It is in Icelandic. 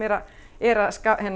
er að